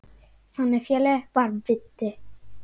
Þannig félagi var Viddi.